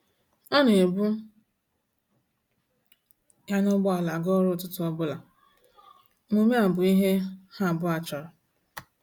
Ọ na ebu ya na ụgbọala aga ọrụ ụtụtụ ọbụla, omume a bụ ihe ha abụọ chọrọ.